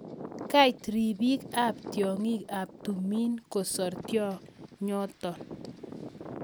Kait ripik ap tiong'ik ap tumin kosar tionyotok